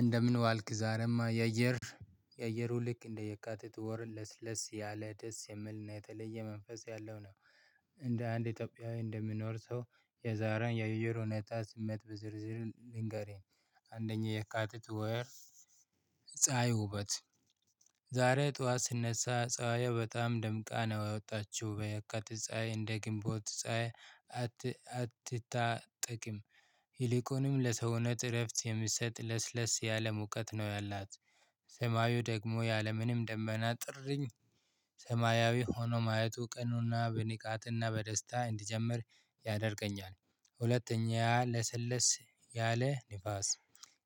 እንደምን ዋልክ ዛሬማ የአየር የአየሩ ልክ እንደ የካቲት ወር ለስለስ ያለ ደስ የምልና የተለየ መንፈስ ያለው ነው። እንደ አንድ ኢትዮጵያዊ እንደምኖር ሰው የዛሬን የውይይር ሁኔታ ስሜት በዝርዝር ልንገርህ። አንደኛ የካቲት ወር። ፀሀይ ውበት። ዛሬ ጠዋት ስነሳ ፀሀይ በጣም ደምቃ ነው ያወጣችው በየካቲት ፀሀይ እንደ ግንቦት። አትታጠቅም። ይልቁንም ለሰውነት እረፍት የምትሰጥ ለስለስ ያለ ሙቀት ነው ያላት። ሰማዩ ደግሞ ያለምንም ደመና ጥሪኝ። ሰማያዊ ሆኖ ማየቱ ቅኑና በንቃትና በደስታ እንዲጀምር ያደርገኛል። ሁለተኛ ለስልስ ያለ ንፋስ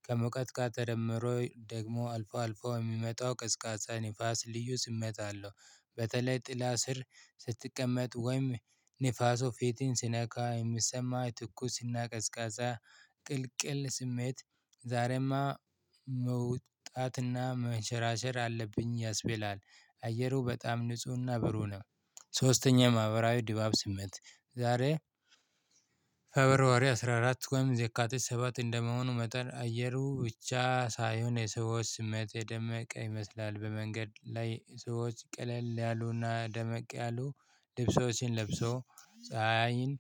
ከሞቀት ጋር ደደምሮ ደግሞ አልፎ አልፎ የሚመጣው ቅዝቃዛ ንፋስ ልዩ ስሜት አለው። በተለይ ጥላ ስር ስትቀመጥ ወይም ንፋሱ ፊትን ሲነካ የምትሰማ ትኩስና ቀዝቃዛ ቅልቅል ስሜት። ዛሬማ መውጣትና መሸራሸር አለብኝ ያስበላል። አየሩ በጣም ንፁህና ብሩህ ነው። ሶስተኛ ማህበራዊ ድባብ ስሜት። ዛሬ ፌብሯሪ አስራ አራት ወይም የካቲት ሰባት እንደመሆኑ መጠን አየሩ ብቻ ሳይሆን የሰዎች ስሜት የደመቀ ይመስላል። በመንገድ ላይ ሰዎች ቀለል ያሉና ደመቅ ያሉ ልብሶችን ለብሶ ፀሀይን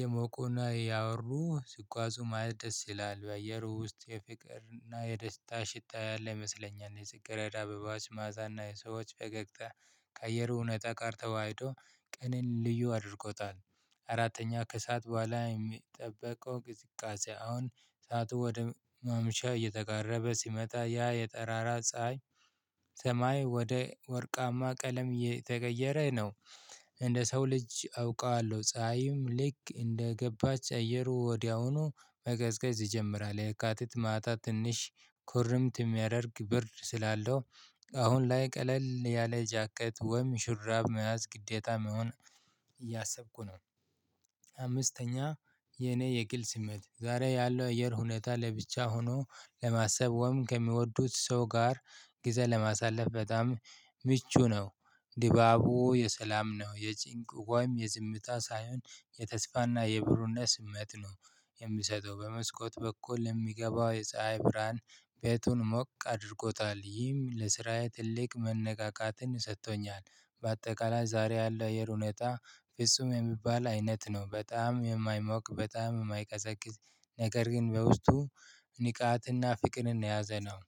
የሞቁና ያወሩ ስትጓዙ ማደስ ይላል በየሩ ውስጥ የፍቅር እና የደስታ ሽታ ላይ ይመስለኛል የጽግረዳ አበባዎች ማአዛና የሰዎች ፈገግታ። ከአየሩ ሁኔታ ጋር ተዋህዶ ቀንን ልዩ አድርጎታል። አራተኛ ከእሳት በኋላ የሚጠበቀው ቅዝቃዜ አሁን ሳቱ ወደ መምሻ እየተቃረበ ሲመጣ ያ የጠራራ ፀሀይ ሰማይ ወደ ወርቃማ ቀለም የተገቀየረ ነው። እንደ ሰው ልጅ አውቀዋለሁ ፀሀይም ልክ እንደገባች አየሩ ወዲያውኑ መገዝገዝ ይጀምራል። የካቲት ማታ ትንሽ ኩርምት የሚያደርግ ብር ስላለው። አሁን ላይ ቀለል ያለ ጃኬት ወይም ሽራብ መያዝ ግዴታ መሆን እያሰብኩ ነው። አምስተኛ የኔ የግል ስሜት ዛሬ ያለው አየር ሁኔታ ለብቻ ሆኖ ለማሰብ ወይም ከሚወዱት ሰው ጋር ግዜ ለማሳለፍ በጣም ምቹ ነው። ድባቡ የሰላም ነው የጭንቅ ወይም የዝምታ ሳይሆን የተስፋና የብሩነት ስሜት ነው። የሚሰጠው በመስኮት በኩል የሚገባው የፀሀይ ብርሃን ቤቱን ሞቅ አድርጎታል ይህም ለስራዬ ትልቅ መነቃቃትን ሰጥቶኛል። በአጠቃላይ ዛሬ ያለው የአየር ሁኔታ ፍጹም የሚባል አይነት ነው በጣም የማይሞቅ በጣም የማይቀዘቅዝ ነገር ግን በውስጡ ንቃትና ፍቅርን የያዘነው።